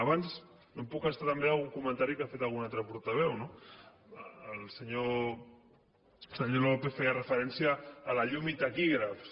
abans no em puc estalviar algun comentari que ha fet algun altre portaveu no el senyor lópez feia referència a la llum i taquígrafs